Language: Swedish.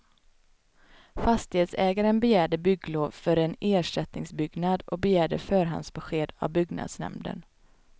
Fastighetsägaren begärde bygglov för en ersättningsbyggnad och begärde förhandsbesked av byggnadsnämnden.